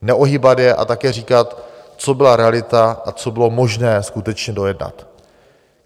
Neohýbat je a také říkat, co byla realita a co bylo možné skutečně dojednat.